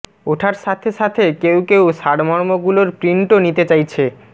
ওঠার সাথে সাথে কেউ কেউ সারমর্মগুলোর প্রিন্টও নিতে চাইছে